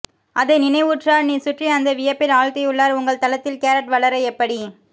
அதை நிறைவுற்றார் நீ சுற்றி அந்த வியப்பில் ஆழ்த்தியுள்ளார் உங்கள் தளத்தில் கேரட் வளர எப்படி